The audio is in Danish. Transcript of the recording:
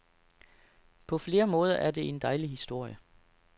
På flere måder er det en dejlig historie.